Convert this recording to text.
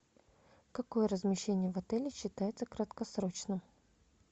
какое размещение в отеле считается краткосрочным